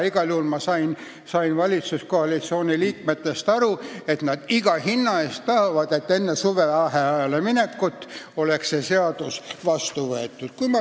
Ma sain valitsuskoalitsiooni liikmetest nii aru, et nad tahavad, et iga hinna eest oleks enne suvevaheajale minekut see seadus vastu võetud.